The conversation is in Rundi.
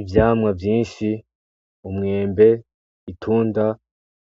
Ivyamwa vyinshi ,umwembe ,itunda,